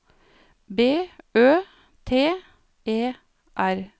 B Ø T E R